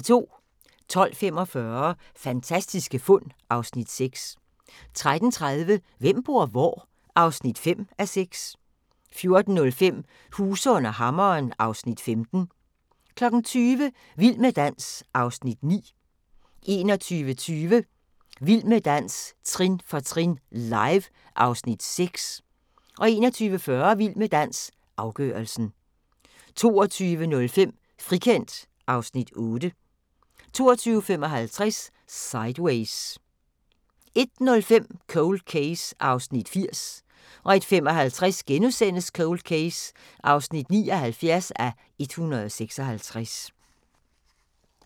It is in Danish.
12:45: Fantastiske fund (Afs. 6) 13:30: Hvem bor hvor? (5:6) 14:05: Huse under hammeren (Afs. 15) 20:00: Vild med dans (Afs. 9) 21:20: Vild med dans – trin for trin, live (Afs. 6) 21:40: Vild med dans – afgørelsen 22:05: Frikendt (Afs. 8) 22:55: Sideways 01:05: Cold Case (80:156) 01:55: Cold Case (79:156)*